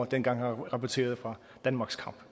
dengang han rapporterede fra danmarks kamp